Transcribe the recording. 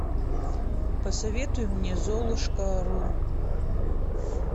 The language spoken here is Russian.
посоветуй мне золушка ру